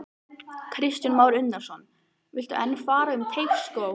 Kristján Már Unnarsson: Viltu enn fara um Teigsskóg?